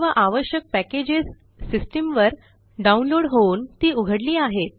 सर्व आवश्यक पॅकेजेस systemवर डाऊनलोड होऊन ती उघडली आहेत